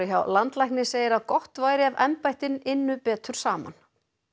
hjá landlækni segir að gott væri ef embættin ynnu betur saman